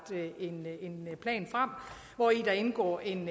en plan frem hvori der indgår en